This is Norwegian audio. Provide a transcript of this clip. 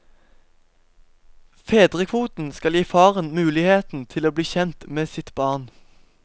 Fedrekvoten skal gi faren muligheten til å bli kjent med sitt barn.